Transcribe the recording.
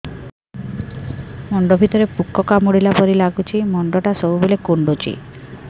ମୁଣ୍ଡ ଭିତରେ ପୁକ କାମୁଡ଼ିଲା ପରି ଲାଗୁଛି ମୁଣ୍ଡ ଟା ସବୁବେଳେ କୁଣ୍ଡୁଚି